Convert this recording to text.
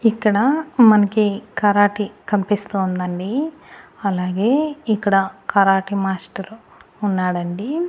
ఇక్కడ మనకి కరాటే కనిపిస్తోందండి అలాగే ఇక్కడ కరాటే మాస్టారు ఉన్నాడండి.